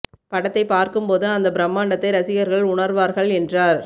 படத்தை பார்க்கும் போது அந்த பிரம்மாண்டத்தை ரசிகர்கள் உணர்வார்கள் என்றார்